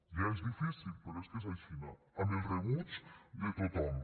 ja és difícil però és que és aixina amb el rebuig de tothom